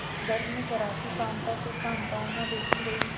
दर्द में कराहती कांता को सांत्वना देती रही